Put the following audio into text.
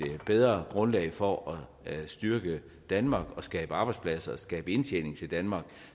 bedre grundlag for at styrke danmark og skabe arbejdspladser og skabe indtjening til danmark